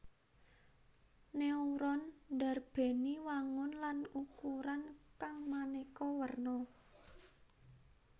Neuron ndarbèni wangun lan ukuran kang manéka werna